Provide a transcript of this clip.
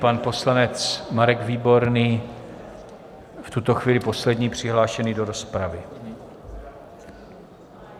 Pan poslanec Marek Výborný v tuto chvíli poslední přihlášený do rozpravy.